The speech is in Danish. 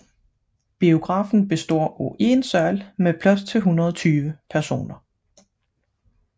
Biografen består af én sal med plads til 120 personer